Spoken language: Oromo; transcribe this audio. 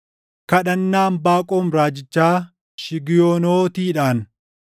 Kadhannaa Anbaaqoom raajichaa shigiyonootiidhaan. + 3:1 Shigiyootiin \+it gosa muuziiqaa ti.\+it*